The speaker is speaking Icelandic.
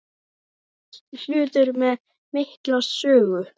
Allt hlutir með mikla sögu.